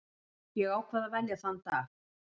Ég ákvað að velja þann dag.